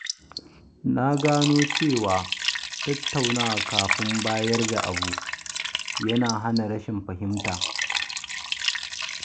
Na gano cewa tattaunawa kafin bayar da abu yana hana rashin fahimta.